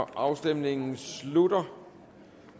afstemningen slutter